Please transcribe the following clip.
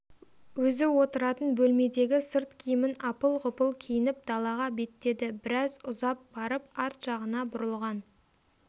өзі отыратын бөлмедегі сырт киімін апыл-ғұпыл киініп далаға беттеді біраз ұзап барып арт жағына бұрылған